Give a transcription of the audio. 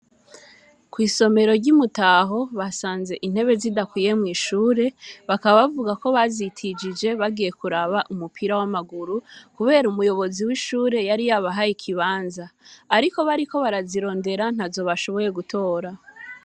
Kw'isomero ry'i Mutaho basanze intebe zidakwiye mw'ishure, bakaba bavuga yuko bazitijije bagiye kuraba umupira w'amaguru, kubera umuyobozi w'ishure yari yabahaye ikibanza. Ariko bariko barazirondera ntazo bashoboye gutora.